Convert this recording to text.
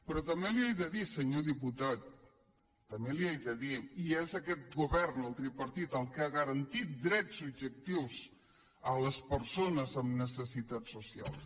però també li ho haig de dir senyor diputat també li ho haig de dir i és aquest govern el tripartit el que ha garantit drets subjectius a les persones amb necessitats socials